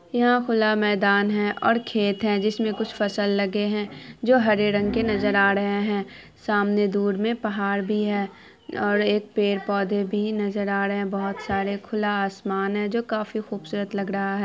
यहाँ खुला मैदान है और खेत है जिसमें कुछ फसल लगे हैं जो हरे रंग के नजर आ रहे हैं| सामने दूर में पहाड़ भी है और एक पेड़-पौधे भी नजर आ रहे हैं बोहत सारे खुला आसमान है जो काफी खूबसूरत लग रहा है।